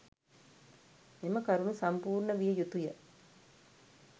මෙම කරුණු සම්පූර්ණ විය යුතුය.